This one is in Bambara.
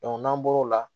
n'an bɔr'o la